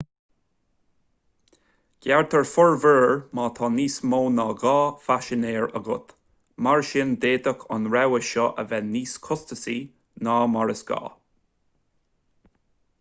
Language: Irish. gearrtar formhuirear má tá níos mó ná 2 phaisinéir agat mar sin d'fhéadfadh an rogha seo a bheith níos costasaí ná mar is gá